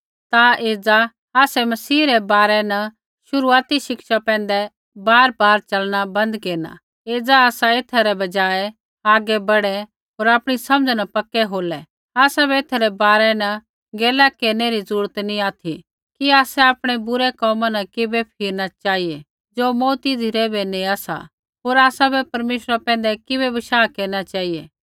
ता एज़ा आसै मसीह रै बारै न शुरूआती शिक्षा पैंधै बारबार चलना बन्द केरना एज़ा आसा एथा रै बजाय आगै बढ़ै होर आपणी समझ़ा न पक्के होलै आसाबै एथा रै बारै न गैला केरनै री जरूरत नैंई ऑथि कि आसै आपणै बुरै कोमा न किबै फिरना चेहिऐ ज़ो मौऊती धिरै बै नेआ सा होर आसाबै परमेश्वरा पैंधै किबै बशाह केरना चेहिऐ